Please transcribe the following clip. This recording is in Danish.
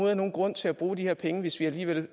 er nogen grund til at bruge de her penge hvis vi alligevel